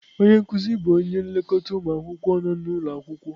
Onye nkuzi bụ onye nlekọta ụmụ akwụkwọ nọ n'ụlọ akwụkwọ.